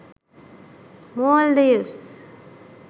maldives